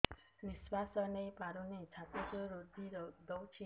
ନିଶ୍ୱାସ ନେଇପାରୁନି ଛାତି ରୁନ୍ଧି ଦଉଛି